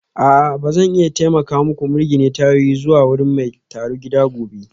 A'a ba zan iya taimaka muku mirgine tayoyin zuwa wurin mai tarugida gobe